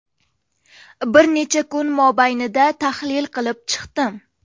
Bir necha kun mobaynida tahlil qilib chiqdim.